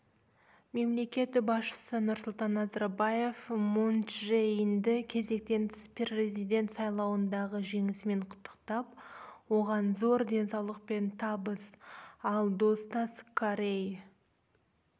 мемлекет басшысы нұрсұлтан назарбаев мун чже инді кезектен тыс президент сайлауындағы жеңісімен құттықтап оған зор денсаулық пен табыс ал достас корей